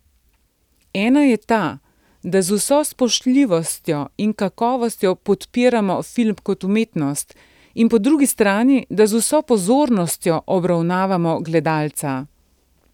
Ena je ta, da z vso spoštljivostjo in kakovostjo podpiramo film kot umetnost, in po drugi strani, da z vso pozornostjo obravnavamo gledalca.